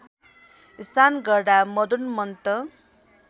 स्नान गर्दा मदोन्मत्त